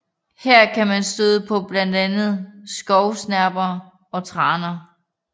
Her kan man støde på blandt andet skovsnepper og traner